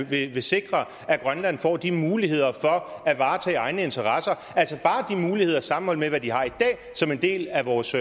vil han sikre at grønland får de muligheder for at varetage egne interesser altså bare de muligheder sammenholdt med hvad de har i dag som en del af vores